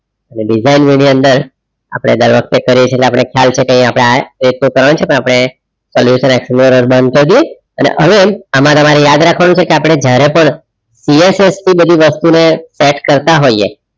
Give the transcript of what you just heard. એટલે design ની અંદર આપણે દર વખતે કરીએ છીએ એટલે આપણે ખ્યાલ છે કે અહીં આપણે એકસો ત્રણ છે પણ આપણે પેલી વખત excelr બંધ કરી દઈએ અને અહીં આમાં તમારે યાદ રાખવાનું છે. કે આપણે જયારે પ PSS થી બધી વસ્તુને attach રતા હોઈએ.